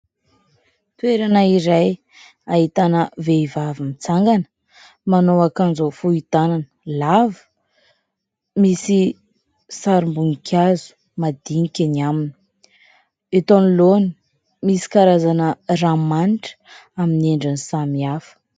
Toerana iray ahitana vehivavy mitsangana, manao akanjo fohy tanana lava, misy sarim-boninkazo madinika eny aminy, eto anoloana misy karazana ranomanitra aminy endriny samihafa.